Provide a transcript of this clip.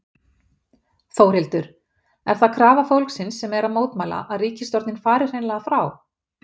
Þórhildur: Er það krafa fólksins sem er að mótmæla, að ríkisstjórnin fari hreinlega frá?